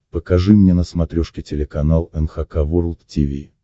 покажи мне на смотрешке телеканал эн эйч кей волд ти ви